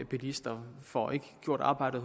bilister får ikke gjort arbejdet